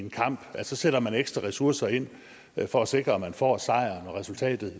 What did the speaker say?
en kamp så sætter man ekstra ressourcer ind for at sikre at man får sejren og resultatet